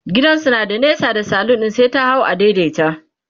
gidansu na da nesa da salon ɗin sai ta hau a daidaita